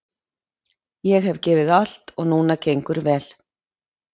Ég hef gefið allt og núna gengur vel.